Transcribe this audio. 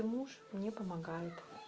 муж не помогает